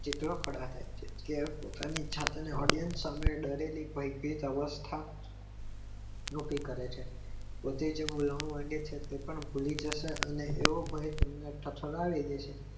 કેટલાક પદાર્થો છે Audience સામે Derelip હોય તે નકી કરે છે વડે છે એઓ ભય તમને ઠઠદાવે છે.